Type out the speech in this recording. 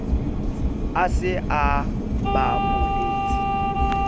a se a ba buletse